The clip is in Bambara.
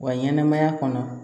Wa ɲɛnɛmaya kɔnɔ